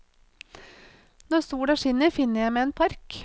Når sola skinner, finner jeg meg en park.